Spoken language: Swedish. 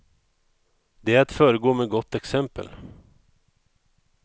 Det är att föregå med gott exempel.